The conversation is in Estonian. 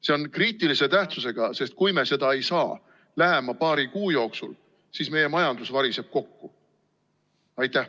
See on kriitilise tähtsusega, sest kui me ei saa seda lähima paari kuu jooksul tehtud, siis variseb meie majandus kokku.